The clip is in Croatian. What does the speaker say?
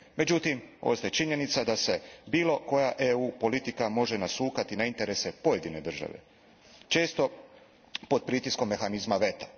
Međutim, ostaje činjenica da se bilo koja EU politika može nasukati na interese pojedine države, često pod pritiskom mehanizma veta.